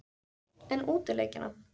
En útileikina?